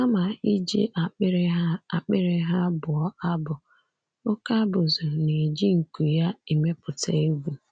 Kama iji akpịrị ha akpịrị ha bụọ abụ, oké abụzụ na-eji nku ya emepụta egwú.